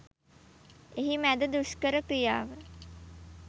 එහි මැද දුෂ්කර ක්‍රියාව